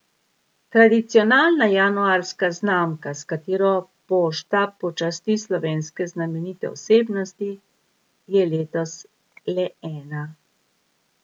Tradicionalna januarska znamka, s katero Pošta počasti slovenske znamenite osebnosti, je letos le ena.